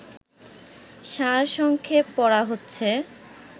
সারসংক্ষেপ পড়া হচ্ছে